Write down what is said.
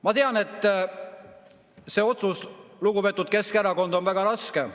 Ma tean, et see otsus, lugupeetud Keskerakond, on väga raske.